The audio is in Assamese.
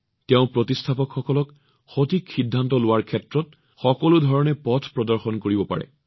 তেওঁ প্ৰতিষ্ঠাপকসকলক সঠিক সিদ্ধান্ত দি সকলো ধৰণে পথ প্ৰদৰ্শন কৰিব পাৰে